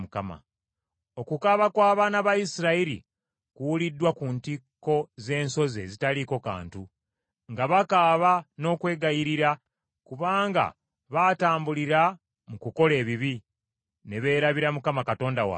Okukaaba kw’Abaana ba Isirayiri kuwuliddwa ku ntikko z’ensozi ezitaliiko kantu, nga bakaaba n’okwegayirira, kubanga baatambulira mu kukola ebibi, ne beerabira Mukama Katonda waabwe.